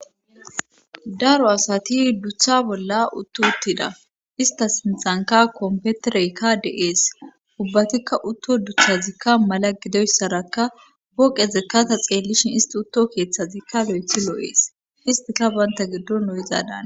Daro asati dutha bolla utto uttida ista sintxanka kompetereykka de7ees ubbatikka utto duthazikka mala gidoyssarakka woqe zekkata xeellishin isti utto keeththazikka lo7ethi loo7ees istika banta giddo o7izadan,